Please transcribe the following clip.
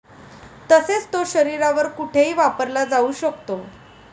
तसेच तो शरीरावर कुठेही वापरला जाऊ शकतो.